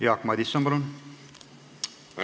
Jaak Madison, palun!